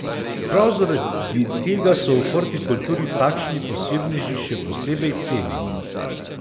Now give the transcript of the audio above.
Prav zaradi tega so v hortikulturi takšni posebneži še posebej cenjeni.